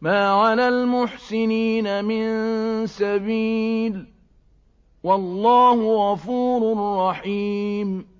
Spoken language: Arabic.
مَا عَلَى الْمُحْسِنِينَ مِن سَبِيلٍ ۚ وَاللَّهُ غَفُورٌ رَّحِيمٌ